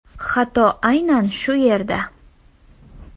Xato aynan shu yerda.